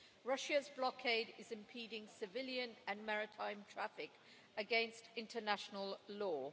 Russia's blockade is impeding civilian and maritime traffic, against international law.